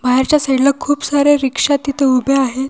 बाहेरच्या साईडला खूप सारे रिक्षा तिथे उभे आहेत.